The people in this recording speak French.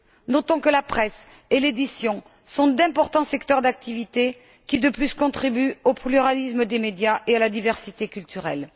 Notons que la presse et l'édition sont d'importants secteurs d'activité qui contribuent en outre au pluralisme des médias et à la diversité culturelle.